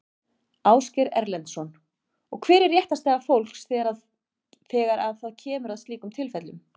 Ásgeir Erlendsson: Og hver er réttarstaða fólks þegar að það kemur að slíkum tilfellum?